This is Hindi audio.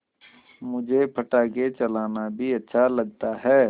मुझे पटाखे चलाना भी अच्छा लगता है